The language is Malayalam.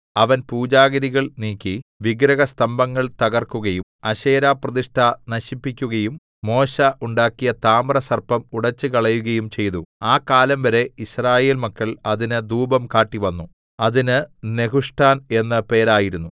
അവൻ പൂജാഗിരികൾ നീക്കി വിഗ്രഹസ്തംഭങ്ങൾ തകർക്കുകയും അശേരാപ്രതിഷ്ഠ നശിപ്പിക്കുകയും മോശെ ഉണ്ടാക്കിയ താമ്രസർപ്പം ഉടെച്ചുകളയുകയും ചെയ്തു ആ കാലം വരെ യിസ്രായേൽ മക്കൾ അതിന് ധൂപം കാട്ടിവന്നു അതിന് നെഹുഷ്ഠാൻ എന്ന് പേരായിരുന്നു